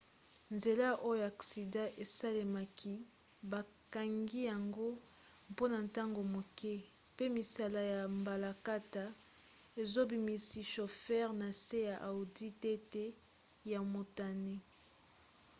nzela oyo aksida esalemaki bakangi yango mpona ntango moke mpe misala ya mbalakata ezobimisa shofere na se ya audi tt ya motane